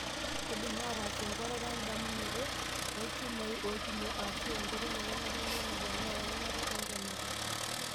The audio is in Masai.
Keidimi aatas enkuatata tendumunoto oolchumai oipimo aashu nkoitoi ake naalelek naaponaa eanyata entonata.